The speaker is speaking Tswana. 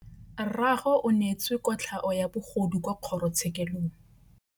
Rragwe o neetswe kotlhaô ya bogodu kwa kgoro tshêkêlông.